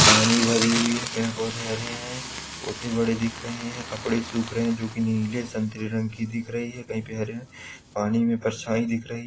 पानी भरी हुई है। पेड़ पौधे हरे हैं छोटे बड़े दिख रहे हैं कपड़े सूख रहे हैं जो की नीले संतरे रंग के दिख रहे हैं कहीं पे हरे पानी में परछाई दिख रही --